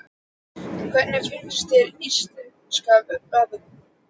En hvernig finnst þér íslenska veðrið?